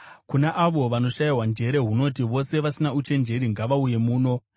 Kuna avo vanoshayiwa njere hunoti, “Vose vasina uchenjeri ngavauye muno!